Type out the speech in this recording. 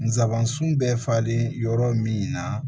Nsabansun bɛ falen yɔrɔ min na